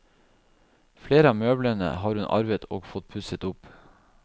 Flere av møblene har hun arvet og fått pusset opp.